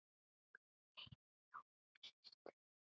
Guð geymi Jónínu systur.